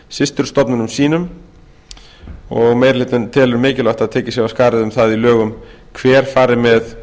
systurstofnunum sínum meiri hlutinn telur mikilvægt að tekið sé af skarið um það í lögum hver fari með